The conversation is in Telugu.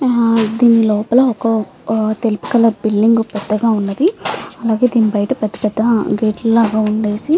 దేని లోపల ఒక తెలుపు కలర్ బిల్డింగ్ పెద్దగా వున్నది. అలాగే దిని బయట పెద్ద పెద్ద గేట్ లు లాగా వున్నది.